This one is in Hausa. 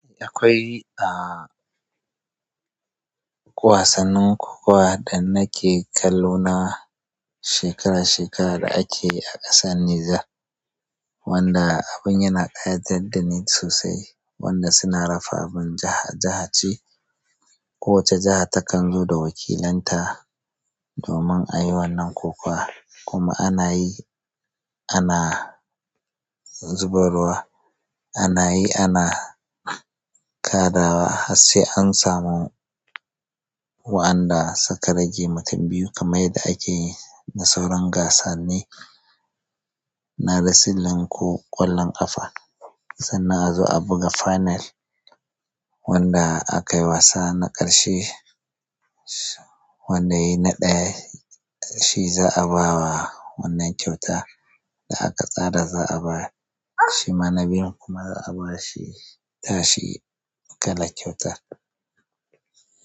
Eh akwai a, wasannin kokawa da nake kallo na shekara shekara da akeyi a ƙasar Niger wanda abin yana ƙayatar dani sosai wanda suna rafa abin jaha jaha ce. Kowace jaha takanzo da wakilanta. Domin ayi wannan kokawa kuma ana yi ana zubarwa ana yi ana kaɗawa har sai an samu wa'anda suka rage mutun biyu kamar yanda akeyi na sauran gasanni na risilin ko ƙwallon ƙafa sannan a zo a buga final wanda akayi wasa na ƙarshe, wanda yayi na ɗaya shi za'a bawa wannan kyautar da aka tsara za'a bayar. Shima na biyun kuma za'a ba shi tashi kalar kyautar.